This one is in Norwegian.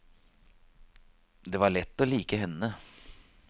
Det var lett å like henne.